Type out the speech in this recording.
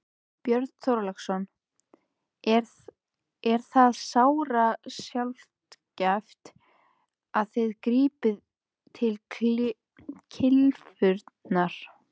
Björn Þorláksson: Er það sárasjaldgæft að þið grípið til kylfunnar?